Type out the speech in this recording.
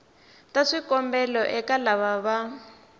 ta swikombelo eka lava va